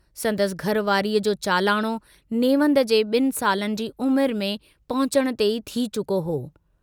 संदसि घर वारीअ जो चालाणो नेवंद जे ॿिन सालनि जी उमुरु में पहुचण ते ई थी चुको हो।